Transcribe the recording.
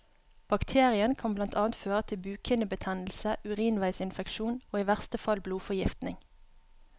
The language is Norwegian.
Bakterien kan blant annet føre til bukhinnebetennelse, urinveisinfeksjon og i verste fall blodforgiftning.